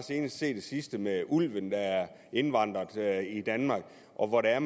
se det seneste med ulven der er indvandret i danmark og hvor det er